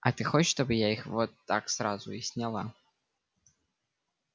а ты хочешь чтобы я их вот так сразу и сняла